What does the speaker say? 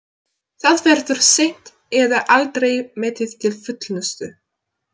Það verður seint eða aldrei metið til fullnustu.